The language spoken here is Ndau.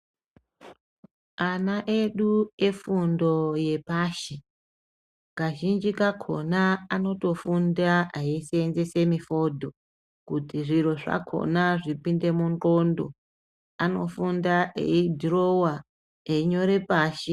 Ana edu efundo yepashi kazhinji kakona anotofunda eisenzesa mifodho zvekuti Anofunda eidhirowa einyora pashi.